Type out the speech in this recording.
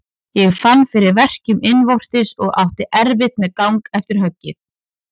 Ég fann fyrir verkjum innvortis og átti erfitt með gang eftir höggið.